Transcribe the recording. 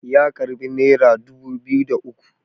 ya karbi naira dubu biyu da uku